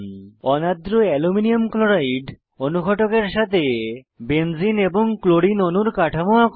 অনার্দ্র aluminium chloride অনুঘটকের সাথে benzene এবং ক্লোরিন অণুর কাঠামো আঁকুন